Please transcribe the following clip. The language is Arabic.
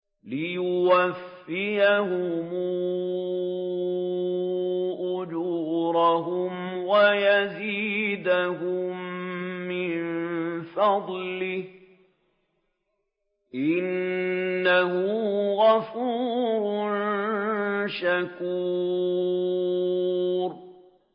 لِيُوَفِّيَهُمْ أُجُورَهُمْ وَيَزِيدَهُم مِّن فَضْلِهِ ۚ إِنَّهُ غَفُورٌ شَكُورٌ